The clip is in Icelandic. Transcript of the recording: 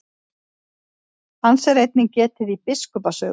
Hans er einnig getið í biskupa sögum.